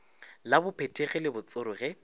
la bophethegi le botsoro ge